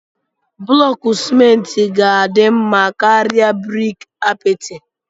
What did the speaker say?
Blọku simenti ga-adị mma karịa briki apịtị.